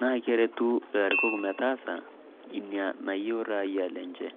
naa kerutu ilarikok metaasa ina nayieu rayia enje.